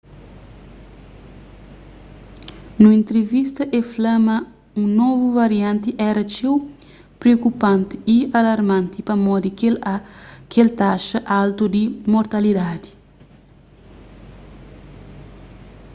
nun entrivista el fla ma un novu varianti éra txeu priokupanti y alarmanti pamodi kel taxa altu di mortalidadi